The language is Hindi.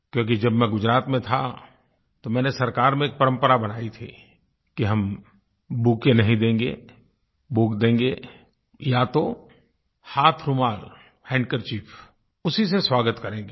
क्योंकि जब मैं गुजरात में था तो मैंने सरकार में एक परंपरा बनाई थी कि हम बुकेट नहीं देंगे बुक देंगे या तो हाथरुमाल हैंडकरचीफ उसी से स्वागत करेंगे